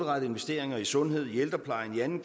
grønland